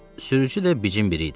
Sürücü də bicin biri idi.